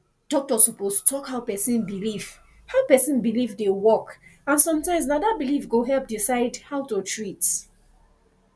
doctor suppose talk how person belief how person belief dey work and sometimes na that belief go help decide how to treat